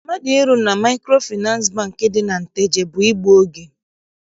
Mmadụ ịrụ na Maịkrofịnansị Bankị. dị na Nteje bụ igbu oge.